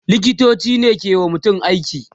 liktoci ne ke wa mutum aiki